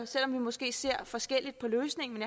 selv om vi måske ser forskelligt på løsningen